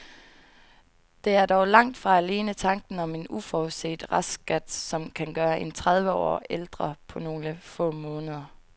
Det er dog langt fra alene tanken om en uforudset restskat, som kan gøre en tredive år ældre på nogle få måneder.